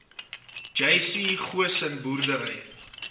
jc goosen boerdery